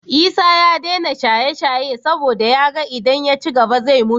Isa ya dena shaye shaye saboda yaga idan ya cigaba zai mutu